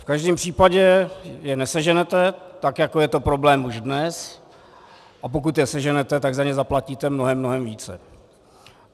V každém případě je neseženete, tak jako je to problém už dnes, a pokud je seženete, tak za ně zaplatíte mnohem, mnohem více.